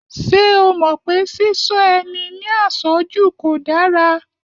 Ṣé o mọ̀ pé Ṣíṣọ́ ẹni ní àṣọ́jù kò dára?